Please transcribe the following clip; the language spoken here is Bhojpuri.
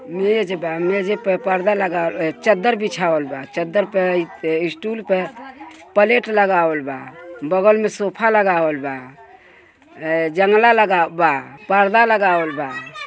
मेज बा मेजे पर पर्दा लग अ -चद्दर बिछावल बा चद्दर पे स्टुल प प्लेट लगावल बा। बगल में सोफा लगावल बा जंगला लगावल बा पर्दा लगावल बा।